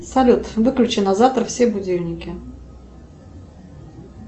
салют выключи на завтра все будильники